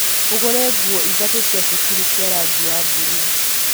ũgũre nguo ithatũ cia cukuru cia rangi wa buruu